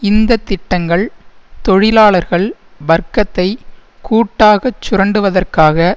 இந்த திட்டங்கள் தொழிலாளர்கள் வர்க்கத்தை கூட்டாகச் சுரண்டுவதற்காக